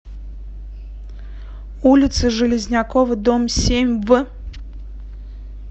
улица железнякова дом семь в